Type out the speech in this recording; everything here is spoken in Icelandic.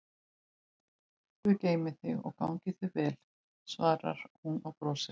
Guð geymi þig og gangi þér vel, svarar hún og brosir.